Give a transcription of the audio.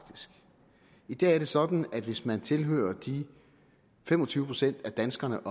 i dag sådan at hvis man tilhører de fem og tyve procent af danskerne